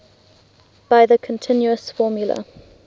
by the continuous formula